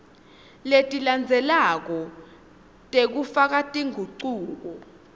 letilandzelako tekufaka tingucuko